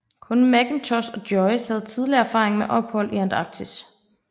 Kun Mackintosh og Joyce havde tidligere erfaring med ophold i Antarktis